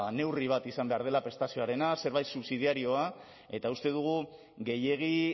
neurri bat izan behar dela prestazioarena zerbait subsidiarioa eta uste dugu gehiegi